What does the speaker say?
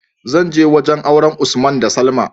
zanje wajan auren usman da salma